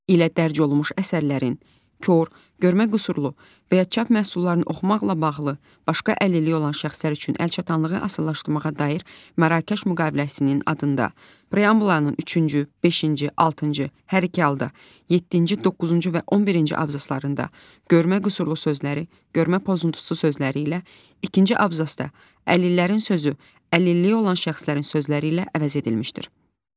ilə dərc olunmuş əsərlərin kor, görmə qüsurlu və ya çap məhsullarını oxumaqla bağlı başqa əlilliyi olan şəxslər üçün əlçatanlığını asanlaşdırmağa dair Mərrakəş müqaviləsinin adında, preambulanın üçüncü, beşinci, altıncı, hər iki halda, yeddinci, doqquzuncu və 11-ci abzaslarında “görmə qüsurlu” sözləri “görmə pozuntusu” sözləri ilə, ikinci abzasda “əlillərin” sözü “əlilliyi olan şəxslərin” sözləri ilə əvəz edilmişdir.